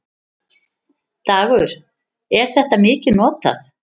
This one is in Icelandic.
Dagur: Er þetta mikið notað?